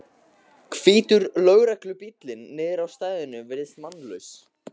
Hvítur lögreglubíllinn niðri á stæðinu virðist mannlaus.